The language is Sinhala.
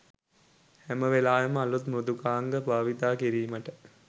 හැම වෙලාවෙම අලුත්ම මෘදුකාංග බාවිතා කිරිමට